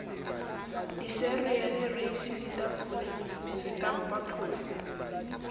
dicereale reisi ditapole setampa phoofo